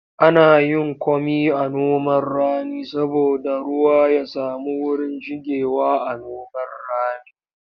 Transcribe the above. Ana yin komi a noman rani saboda ruwa ya samu wurin shigewa.a noman rani